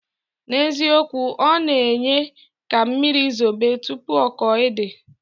Na ezikowu, ona enye ka mmiri zobe tupu oko ede.